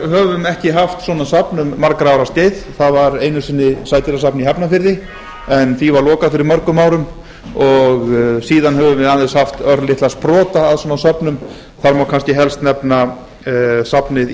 íslendingar höfum ekki haft svona safn um margra ára skeið það var einu sinni sædýrasafn í hafnarfirði en því var lokað fyrir mörgum árum og síðan höfum við aðeins haft örlitla sprota af svona söfnum þar má kannski helst nefna safnið í